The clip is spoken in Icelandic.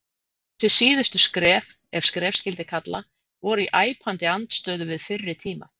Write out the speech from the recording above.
Þessi síðustu skref, ef skref skyldi kalla, voru í æpandi andstöðu við fyrri tíma.